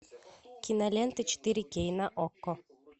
кинолента четыре кей на окко